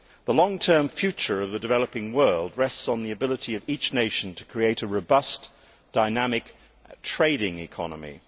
The long term future of the developing world rests on the ability of each nation to create a robust, dynamic trading economy.